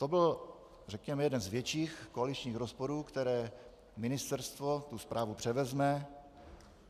To byl řekněme jeden z větších koaličních rozporů, které ministerstvo tu správu převezme.